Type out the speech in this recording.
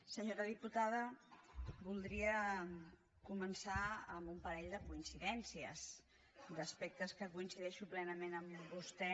senyora diputada voldria començar amb un parell de coincidències d’aspectes en què coincideixo plenament amb vostè